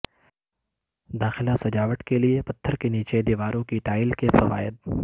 داخلہ سجاوٹ کے لئے پتھر کے نیچے دیواروں کی ٹائل کے فوائد